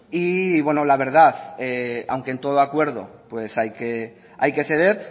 y la verdad aunque en todo acuerdo hay que ceder